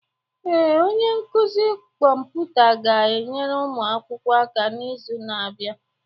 Ee, onye nkuzi kọmputa ga-enyere ụmụ akwụkwọ aka n'izu na-abịa.